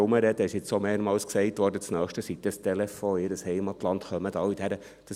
Es wurde jetzt auch mehrmals gesagt, das Nächste sei dann der Telefonanruf in ihr Heimatland, und dann kämen alle.